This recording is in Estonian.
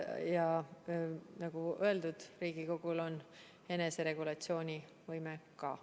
Ja nagu öeldud, Riigikogul on eneseregulatsioonivõime ka.